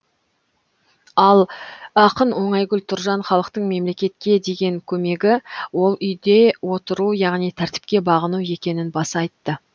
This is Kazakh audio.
ал ақын оңайгүл тұржан халықтың мемлекетке деген көмегі ол үйде отыру яғни тәртіпке бағыну екенін баса айтты